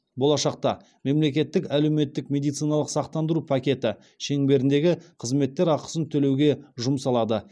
болашақта мемлекеттік әлеуметтік медициналық сақтандыру пакеті шеңберіндегі қызметтер ақысын төлеуге жұмсалады